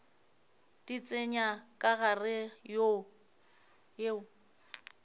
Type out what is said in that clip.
di tsenya ka gare yeo